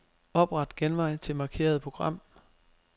Opret genvej til markerede program.